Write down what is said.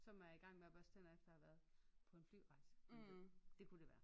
Som er igang med at børste tænder efter at have været på en flyrejse for eksempel det kunne det være